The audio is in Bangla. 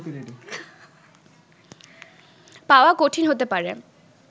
পাওয়া কঠিন হতে পারে